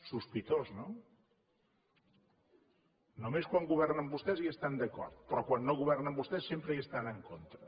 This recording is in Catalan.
sospitós no només quan governen vostès hi estan d’acord però quan no governen vostès sempre hi estan en contra